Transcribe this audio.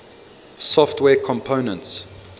software components